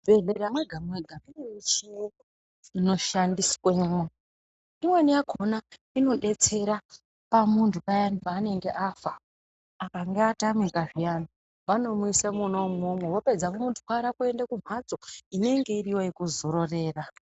Muzvibhedhlera mwega mwega mune michini inshandiswemwo imweni yakhona inodetsera pamunthu payani paanenge afa akange atamika zviyani vanomuisa mwona umwomwo vapedza vomutwara kuenda kumhatso inenge iriyo yekuzororera.